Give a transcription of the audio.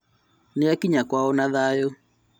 Nĩakinya kwao na thayũ